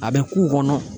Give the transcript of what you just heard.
A bɛ k'u kɔnɔ